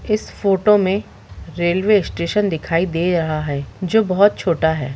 इस फोटो में railway station दिखाई दे रहा है जो बहुत छोटा है।